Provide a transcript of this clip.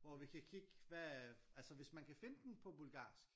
Hvor vi kan kigge hvad altså hvis man kan finde den på bulgarsk